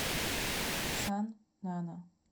сан нана